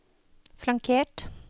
flankert